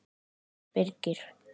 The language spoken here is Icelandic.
Fyrst Birgir